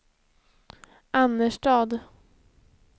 Annerstad